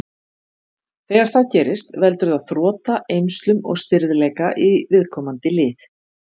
Þegar það gerist veldur það þrota, eymslum og stirðleika í viðkomandi lið.